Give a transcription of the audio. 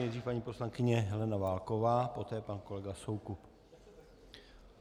Nejdřív paní poslankyně Helena Válková, poté pan kolega Soukup.